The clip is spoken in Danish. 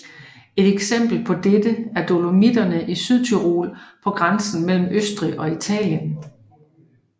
Et eksempel på dette er Dolomitterne i Sydtyrol på grænsen mellem Østrig og Italien